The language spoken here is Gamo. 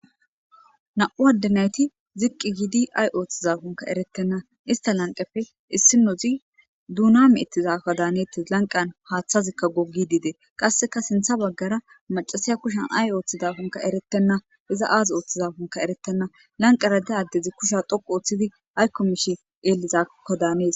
Na'u addenayti ziqqi giidi ay ooththiza kunka eretenna ista lanqepe issi nozi duuna me'ettizako daanetis lanqan haaththazikka goggi diide qasseka sintha baggara macasiya kushan ay ooththida kunka eretenna iza aaz ooththiza kunka eretenna lanqarade addezi kusha dhoqu ooththidi aykko mishi xeelizakko daanees.